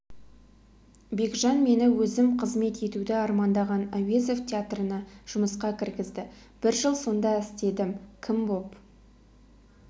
бекжан мені өзім қызмет етуді армандаған әуезов театрына жұмысқа кіргізді бір жыл сонда істедім кім боп